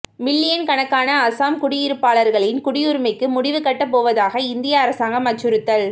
million கணக்கான அசாம் குடியிருப்பாளர்களின் குடியுரிமைக்கு முடிவு கட்டப் போவதாக இந்திய அரசாங்கம் அச்சுறுத்தல்